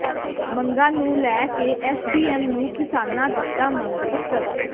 ਮੰਗਾਂ ਨੂੰ ਲੈ ਕੇ ਐਸਡੀਐਮ ਨੂੰ ਕਿਸਾਨਾਂ ਦਿੱਤਾ ਮੰਗ ਪੱਤਰ